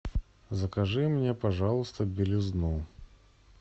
закажи мне пожалуйста белизну